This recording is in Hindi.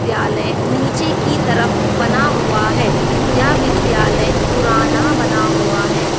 विद्यालय नीचे की तरफ बना हुआ है यह विद्यालय पुराना बना हुआ है।